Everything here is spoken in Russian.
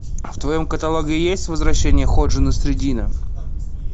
в твоем каталоге есть возвращение ходжи насреддина